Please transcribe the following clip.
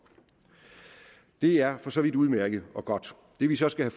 det er for så vidt udmærket og godt det vi så skal